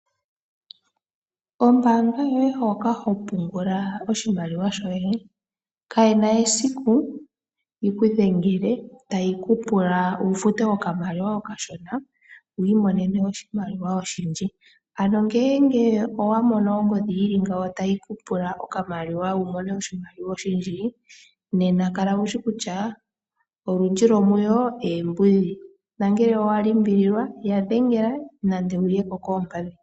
Ombaanga yoye hoka ho pungula oshimaliwa shoye, kaye na esiku yiku dhengele tayi ku pula wu fute oshimaliwa oshishona wiimonene oshimaliwa oshindji. Ano ngele owa mono ongodhi yili ngawo tayi ku pula okamaliwa wiimonene oshimaliwa oshindji, nena kala wushi kutya olundji lwomuyo oombudhi, na ngele owa limbililwa ya dhengela nenge wuye ko koompadhi.